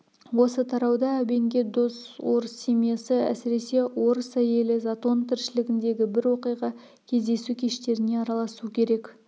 осы тарауда әбенге дос орыс семьясы әсіресе орыс әйелі затон тіршілігіндегі бір оқиға кездесу кештеріне араласу керек